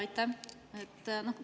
Aitäh!